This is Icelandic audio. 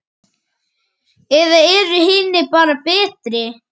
Eða eru hinir bara betri?